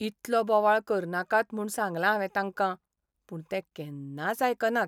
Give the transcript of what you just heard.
इतलो बोवाळ करनाकात म्हूण सांगलां हांवें तांकां, पूण ते केन्नाच आयकनात.